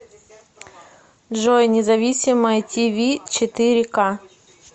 джой независимое ти ви четыре ка